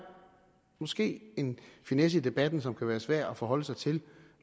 måske en finesse i debatten som kan være svær at forholde sig til